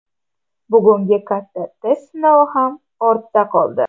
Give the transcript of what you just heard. Bugungi katta test sinovi ham ortda qoldi.